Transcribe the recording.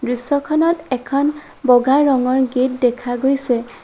দৃশ্যখনত এখন বগা ৰঙৰ গেট দেখা গৈছে।